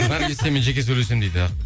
наргиз сенімен жеке сөйлесемін дейді